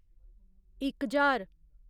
इक ज्हार